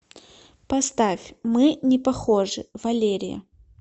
поставь мы не похожи валерия